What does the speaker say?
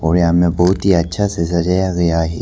और यहां में बहुत ही अच्छा से सजाया गया है।